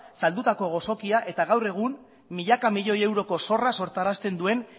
saldutako gozokia eta gaur egun milaka miloi euroko zorra sortarazten duen